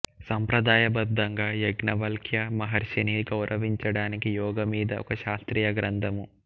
సంప్రదాయబద్ధంగా యాజ్ఞవల్క్య మహర్షిని గౌరవించటానికి యోగ మీద ఒక శాస్త్రీయ గ్రంధము